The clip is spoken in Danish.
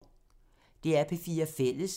DR P4 Fælles